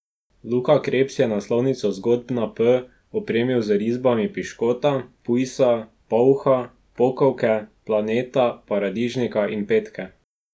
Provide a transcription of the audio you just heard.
Luka Krebs je naslovnico Zgodb na P opremil z risbami piškota, pujsa, polha, pokovke, planeta, paradižnika in petke.